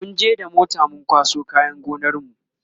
munje da mota mun kwaso kayan gonar mu